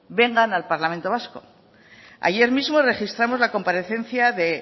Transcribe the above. vengan al parlamento vasco ayer mismo registramos la comparecencia de